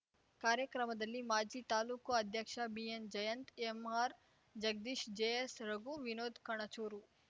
ಕಾರ್ಯಕ್ರಮದಲ್ಲಿ ಮಾಜಿ ತಾಲೂಕು ಅಧ್ಯಕ್ಷ B N Jayanth M R Jagadish J S Raghu Vinod Kanachur